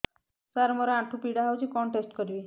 ସାର ମୋର ଆଣ୍ଠୁ ପୀଡା ହଉଚି କଣ ଟେଷ୍ଟ କରିବି